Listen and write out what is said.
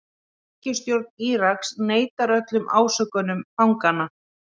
Ríkisstjórn Íraks neitar öllum ásökunum fanganna